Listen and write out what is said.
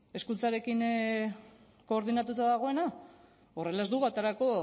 hezkuntzarekin koordinatuta dagoena horrela ez dugu aterako